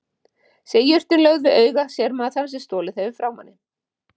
Sé jurtin lögð við auga sér maður þann sem stolið hefur frá manni.